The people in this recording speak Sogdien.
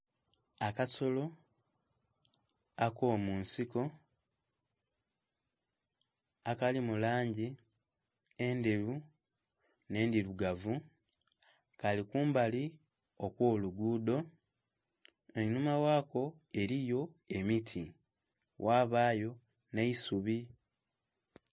Akasolo ako munsiko akali mu langi endheru nhe endhirugavu Kali kumbali okwo lugudho, einhuma ghako eriyo emiti ghabayo nh'eisubi.